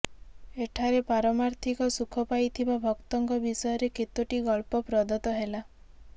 ଏଠାରେ ପାରମାର୍ଥିକ ସୁଖ ପାଇଥିବା ଭକ୍ତଙ୍କ ବିଷୟରେ କେତୋଟି ଗଳ୍ପ ପ୍ରଦତ୍ତ ହେଲା